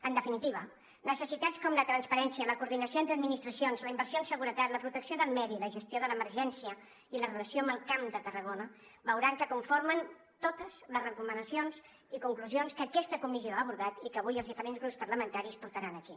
en definitiva necessitats com la transparència la coordinació entre administracions la inversió en seguretat la protecció del medi la gestió de l’emergència i la relació amb el camp de tarragona veuran que conformen totes les recomanacions i conclusions que aquesta comissió ha abordat i que avui els diferents grups parlamentaris portaran aquí